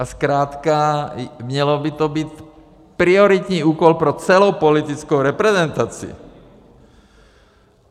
A zkrátka měl by to být prioritní úkol pro celou politickou reprezentaci.